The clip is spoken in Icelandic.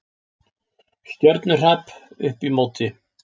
Stjörnuhrap upp í móti!